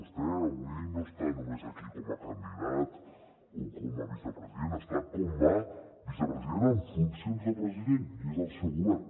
vostè avui no està només aquí com a candidat o com a vicepresident està com a vicepresident en funcions de president i és el seu govern